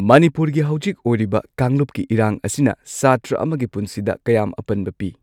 ꯃꯅꯤꯄꯨꯔꯒꯤ ꯍꯧꯖꯤꯛ ꯑꯣꯏꯔꯤꯕ ꯀꯥꯡꯂꯨꯞꯀꯤ ꯏꯔꯥꯡ ꯑꯁꯤꯅ ꯁꯥꯇ꯭ꯔ ꯑꯃꯒꯤ ꯄꯨꯟꯁꯤꯗ ꯀꯌꯥꯝ ꯑꯄꯟꯕ ꯄꯤ꯫